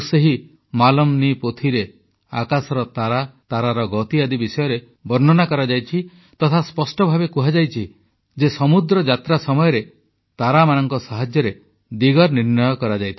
ଆଉ ସେହି ମାଲମ୍ ନୀ ପୋଥିରେ ଆକାଶର ତାରା ତାରାର ଗତି ଆଦି ବିଷୟରେ ବର୍ଣ୍ଣନା କରାଯାଇଛି ତଥା ସ୍ପଷ୍ଟ ଭାବେ କୁହାଯାଇଛି ଯେ ସମୁଦ୍ର ଯାତ୍ରା ସମୟରେ ତାରାମାନଙ୍କ ସାହାଯ୍ୟରେ ଦିଗ ନିର୍ଣ୍ଣୟ କରାଯାଇଥାଏ